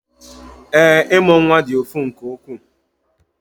Ee, ịmụ nwa dị ụfụ nke ukwuu